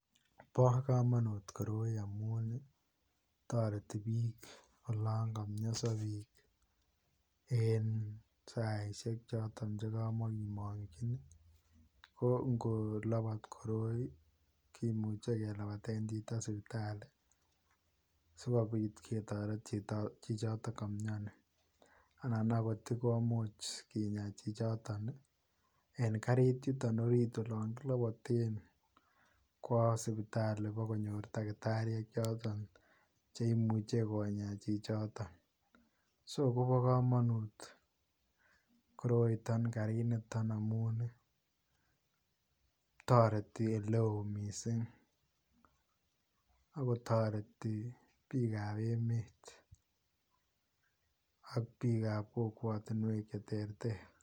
Bo kamanut koroi amuun ii taretii biik olaan kamiasa biik en saisiek chotoon che kamakimanyiin ko ngo labaat koroi kimuchei kelabateen chitoo sipitalii sikobiit ketareteen chichotoon kamiani anan akoot sikomuuch kinyaan chichotoon ii en kariit yutoon olaan kilabateen kowa sipitalii konyoor takitariek chotoon chekimuchei konyaa chichitoon so kobaa kamanuut koroitaan kariit nitoon amuun taretii ele wooh missing ago taretii biik ab emeet ak biik ab kokwatiinweek che terter.